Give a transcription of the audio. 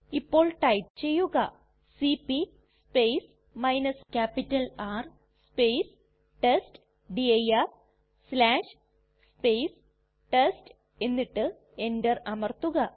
ഇപ്പോൾ ടൈപ്പ് ചെയ്യുക cp R test dir test എന്നിട്ട് എന്റർ അമർത്തുക